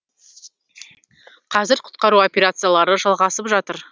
қазір құтқару операциялары жалғасып жатыр